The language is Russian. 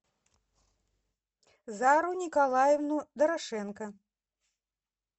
зару николаевну дорошенко